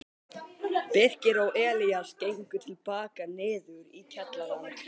Birkir og Elías gengu til baka niður í kjallarann.